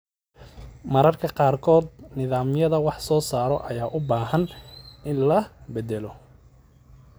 Mararka qaarkood, nidaamyada wax soo saarka ayaa u baahan in la beddelo.